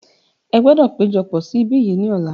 Ẹ gbọdọ̀ péjọpọ̀ sí ibí yìí ni ọ̀la.